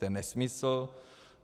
To je nesmysl.